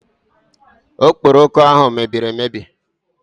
Okporoko ahụ mebiri emebi